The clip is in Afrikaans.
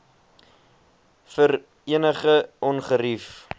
vir enige ongerief